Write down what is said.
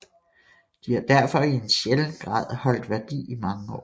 De har derfor i en sjælden grad holdt værdi i mange år